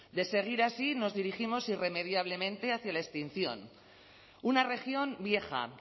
de seguir así nos dirigimos irremediablemente hacia la extinción una región vieja